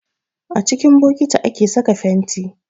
A cikin bokiti ake saka fenti